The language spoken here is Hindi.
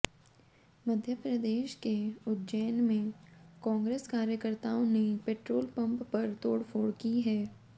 मध्य प्रदेश के उज्जैन में कांग्रेस कार्यकर्ताओं ने पेट्रोल पंप पर तोड़फोड़ की है